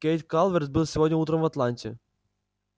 кэйд калверт был сегодня утром в атланте